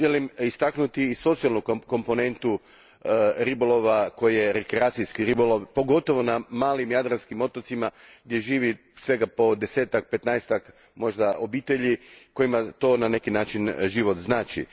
Želim istaknuti i socijalnu komponentu ribolova koji je rekreacijski ribolov, pogotovo na malim jadranskim otocima gdje živi svega desetak, možda petnaestak obitelji kojima to, na neki način, život znači.